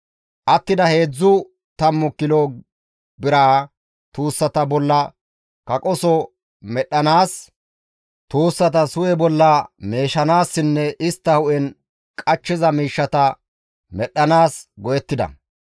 Attida heedzdzu tammu kilo biraa tuussata bolla kaqoso medhdhanaas, tuussatas hu7e bolla meeshanaassinne istta hu7en qachchiza miishshata medhdhanaas go7ettida.